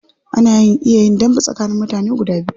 Ana iya yin dambe tsakanin mutane biyu.